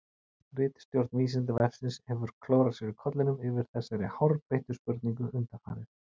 Ritstjórn Vísindavefsins hefur klórað sér í kollinum yfir þessari hárbeittu spurningu undanfarið.